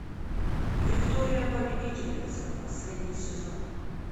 виктория победительница последний сезон